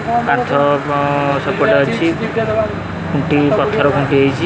କାନ୍ଥ ସେପଟେ ଅଛି ଖୁଣ୍ଟି ପଥର ଖୁଣ୍ଟି ହେଇଚି ।